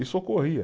Isso ocorria.